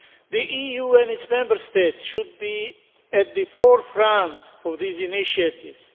The EU and its Member States should be at the forefront of these initiatives.